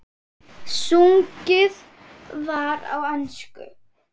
Sungið var á ensku.